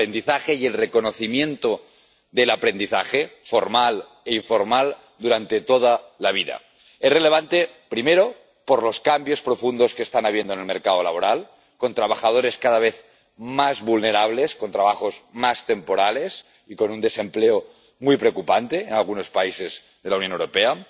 El aprendizaje y el reconocimiento del aprendizaje, formal e informal, durante toda la vida son relevantes, primero, por los cambios profundos que está habiendo en el mercado laboral, con trabajadores cada vez más vulnerables, con trabajos más temporales y con un desempleo muy preocupante en algunos países de la Unión Europea